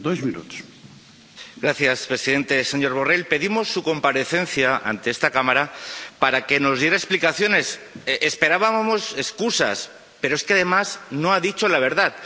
Señor presidente, señor Borrell, pedimos su comparecencia ante esta Cámara para que nos diera explicaciones, esperábamos excusas. Pero, es que, además, no ha dicho la verdad.